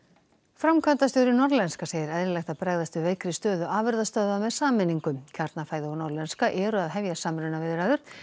framkvæmdastjóri Norðlenska segir eðlilegt að bregðast við veikri stöðu afurðastöðva með sameiningu Kjarnafæði og Norðlenska eru að hefja samrunaviðræður